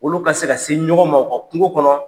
Olu ka se ka se ɲɔgɔn ma u ka kungo kɔnɔ.